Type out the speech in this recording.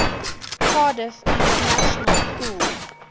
cardiff international pool